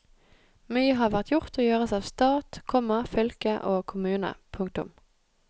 Mye har vært gjort og gjøres av stat, komma fylke og kommune. punktum